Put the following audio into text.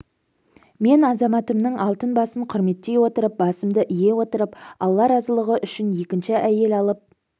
мен азаматымның алтын басын құрметтей отырып басымды ие отырып алла разылыгы үшін екінші айел алып